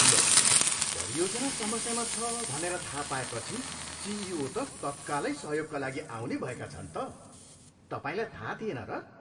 लौ, परियोजना समस्यामा छ भनेर थाहा पाएपछि सिइओ त तत्कालै सहयोगका लागि आउने भएका छन् त! तपाईँलाई थाहा थिएन र?